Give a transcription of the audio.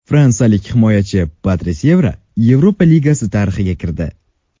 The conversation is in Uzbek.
Fransiyalik himoyachi Patris Evra Yevropa Ligasi tarixiga kirdi.